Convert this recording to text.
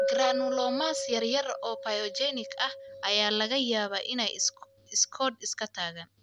Granulomas yaryar oo pyogenic ah ayaa laga yaabaa inay iskood iska tagaan.